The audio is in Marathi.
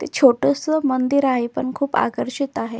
ते छोटस मंदिर आहे पण खूप आकर्षित आहे.